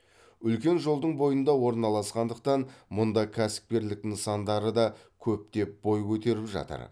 үлкен жолдың бойында орналасқандықтан мұнда кәсіпкерлік нысандары да көптеп бой көтеріп жатыр